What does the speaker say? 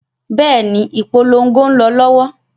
Bẹ́ẹ̀ni, ìpolongo ń lọ lọ́wọ́.